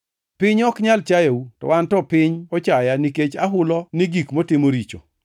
Piny ok nyal chayou, to an to piny ochaya nikech ahulo ni gik motimo richo.